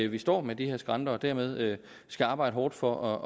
vi står med de her skrænter og dermed skal arbejde hårdt for